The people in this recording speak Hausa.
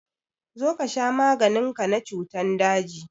Zo ka sha maganin ka na cutan daji!